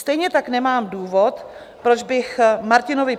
Stejně tak nemám důvod, proč bych Martinovi